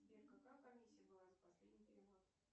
сбер какая комиссия была за последний перевод